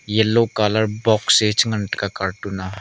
yellow colour box a chi ngan tega cartoon a.